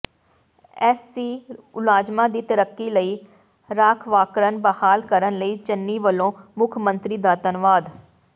SC ਮੁਲਾਜ਼ਮਾਂ ਦੀ ਤਰੱਕੀ ਲਈ ਰਾਖਵਾਂਕਰਨ ਬਹਾਲ ਕਰਨ ਲਈ ਚੰਨੀ ਵਲੋਂ ਮੁੱਖ ਮੰਤਰੀ ਦਾ ਧੰਨਵਾਦ